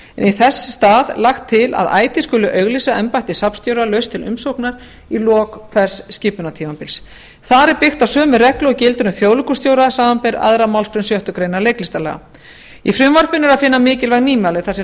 í þess stað lagt til að ætíð skuli auglýsa embætti safnstjóra laust til umsóknar í lok hvers skipunartímabils þar er byggt á sömu reglu og gildir um þjóðleikhússtjóra samanber aðra málsgrein sjöttu grein leiklistarlaga í frumvarpinu er að finna mikilvæg nýmæli þar sem